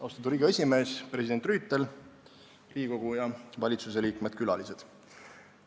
Austatud Riigikogu esimees, president Rüütel, Riigikogu ja valitsuse liikmed ning külalised!